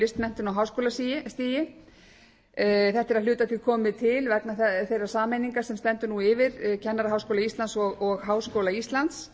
listmenntun á háskólastigi þetta er að hluta til komið til vegna þeirrar sameiningar sem stendur nú yfir kennaraháskóla íslands og háskóla íslands